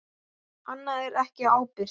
Annað er ekki ábyrgt.